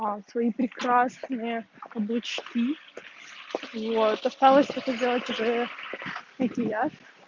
свои прекрасные каблучки вот осталось это сделать уже макияж